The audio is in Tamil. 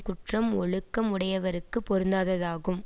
குற்றம் ஒழுக்கம் உடையவர்க்குப் பொருந்தாததாகும்